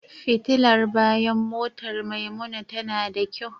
Fitilar bayan motar Maimuna tana da kyau.